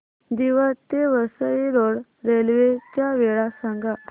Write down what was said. दिवा ते Vasai road railway च्या वेळा सांगा